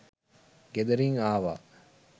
ගෙදරින් ආවා